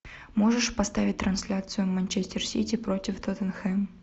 можешь поставить трансляцию манчестер сити против тоттенхэм